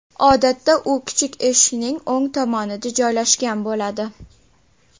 Odatda u kichik eshikning o‘ng tomonida joylashgan bo‘ladi.